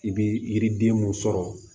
I bi yiriden mun sɔrɔ